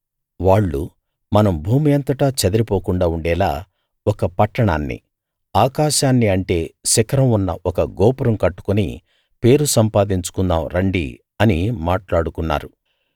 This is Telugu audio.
వాళ్ళు మనం భూమి అంతటా చెదిరిపోకుండా ఉండేలా ఒక పట్టణాన్ని ఆకాశాన్ని అంటే శిఖరం ఉన్న ఒక గోపురం కట్టుకుని పేరు సంపాదించుకుందాం రండి అని మాట్లాడుకున్నారు